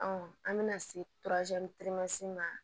an bɛna se ma